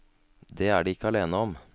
Det er de ikke alene om.